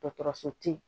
Dɔgɔtɔrɔso tɛ yen